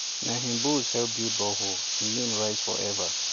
na him bulls help build borehole him name rise forever